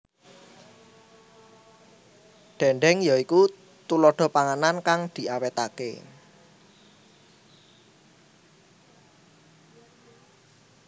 Dhèndhèng ya iku tuladha panganan kang diawetake